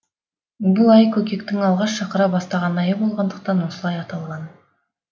бұл ай көкектің алғаш шақыра бастаған айы болғандақтан осылай аталған